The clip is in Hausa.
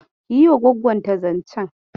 Ki yi wa gwaggonta zancen.